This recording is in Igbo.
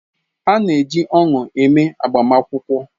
A na-eji ọṅụ eme agbamakwụkwọ.